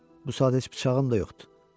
Bu saat heç bıçağım da yoxdur.